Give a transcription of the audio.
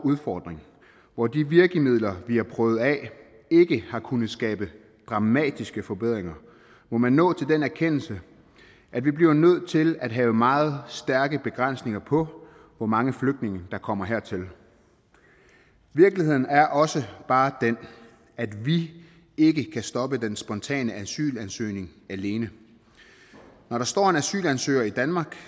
udfordring hvor de virkemidler vi har prøvet af ikke har kunnet skabe dramatiske forbedringer må man nå til den erkendelse at vi bliver nødt til at have meget stærke begrænsninger på hvor mange flygtninge der kommer hertil virkeligheden er også bare den at vi ikke kan stoppe den spontane asylansøgning alene når der står en asylansøger i danmark